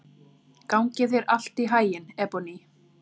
Gangi þér allt í haginn, Ebonney.